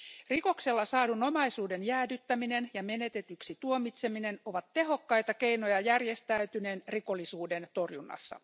Rikoksella saadun omaisuuden jäädyttäminen ja menetetyksi tuomitseminen ovat tehokkaita keinoja järjestäytyneen rikollisuuden torjunnassa.